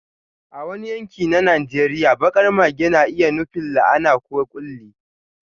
A wani yanki na Najeriya, baƙar mage na iya nufin la'ana ko ƙulli.